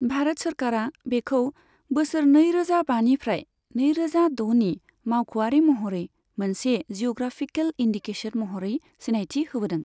भारत सोरखारा बेखौ बोसोर नैरोजा बानिफ्राय नैरोजा द'नि मावख'आरि महरै मोनसे जिअ'ग्राफिकेल इन्दिकेसन महरै सिनायथि होबोदों।